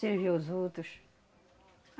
Servia os outros.